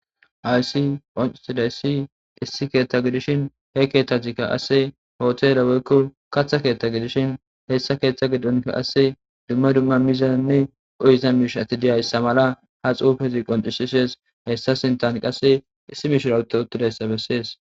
Haysi ocusidaysi issi keeththa gidishin he keeththatkka asse hootele woykko katha keeththa gidishin heessa keeththa gidonka qasse dumma dumma mizanne qohizan miishati diyayssa mala ha xuufiziqon issishees hessa sintan qasse issi mishira uto uttidayssa bessees